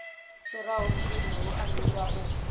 fhiraho mpimo hu ambiwa u